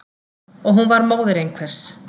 Og hún var móðir einhvers.